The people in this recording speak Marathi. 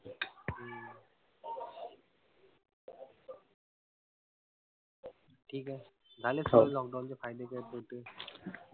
ठीक आहे झाले सर्व lockdown चे फायदे काई तोटे.